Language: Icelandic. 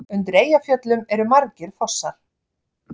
Undir Eyjafjöllum eru margir fossar.